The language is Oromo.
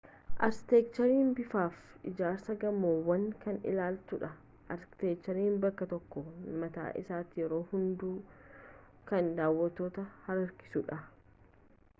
arkiteekcheriin bifaafi ijaarsa gamoowwanii kan ilaallatudha arkiteekcheriin bakkee tokkoo mataa isaatiin yeroo hedduu kan daawattoota harkisudha